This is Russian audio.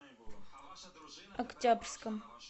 октябрьском